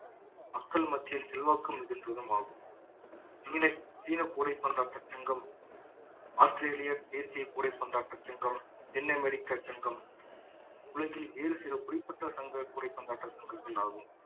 மக்கள் மத்தியில் செல்வாக்கு மிகுந்ததும் ஆகும் சீன சீன கூடைப்பந்தாட்ட சங்கம் ஆஸ்திரேலிய தேசிய கூடை பந்தாட்ட சங்கம் தென்னமெரிக்கா சங்கம் உலகில் வேறு சில குறிப்பிட்ட சங்க கூடை பந்தாட்ட சங்கங்கள் ஆகும்